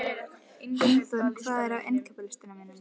Gunnþórunn, hvað er á innkaupalistanum mínum?